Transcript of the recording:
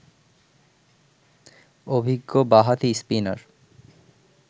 অভিজ্ঞ বাঁহাতি স্পিনার